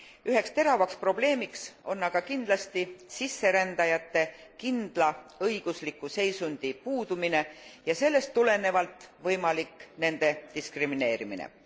Üheks teravaks probleemiks on aga kindlasti sisserändajate kindla õigusliku seisundi puudumine ja sellest tulenevalt nende võimalik diskrimineerimine.